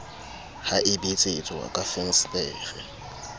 ha e betsetswa ka fensetere